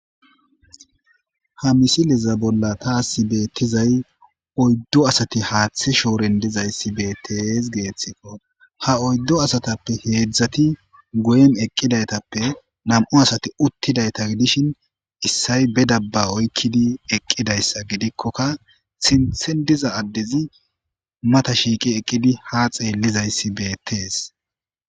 ha misileza bolla taasi beettizay oyddo asati haaththe shooren dizayssi beettees geeththikko ha oyddo asatappe heedzdzati goyen eqqidaytappe nam7u asati uttidayta gidishin issay be dabba oykkidi eqqidayssa gidikkoka sinthen diza addezi mata shiiqi eqqidi ha xeellizayssi beettees